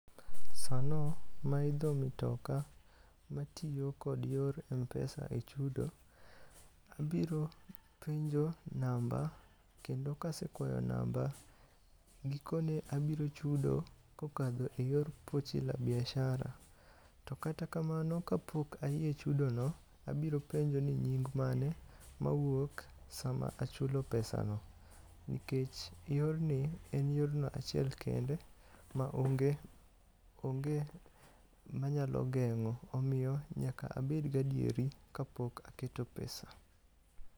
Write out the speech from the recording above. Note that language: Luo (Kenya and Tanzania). Sano maidho mitoka matiyo kod yor Mpesa e chudo, abiro penjo namba. Kendo kasekwayo namba, gikoni abiro chudo kokadho e yor Pochi la Biashara. To kata kamano kapok ayie chudo no, abiro penjo ni nying mane mawuok sama achulo pesa no. Nikech yorni en yorno achiel kende ma onge manyalo geng'o. Omiyo nyaka abed gadieri kapok aketo pesa.